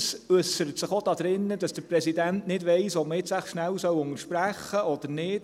Dies äussert sich auch darin, dass der Präsident nicht weiss, ob man jetzt wohl kurz unterbrechen soll oder nicht.